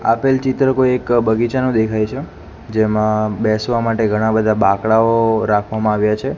આપેલ ચિત્ર કોઈ એક બગીચાનો દેખાય છે જેમા બેસવા માટે ઘણા બધા બાકડાઓ રાખવામાં આવ્યા છે.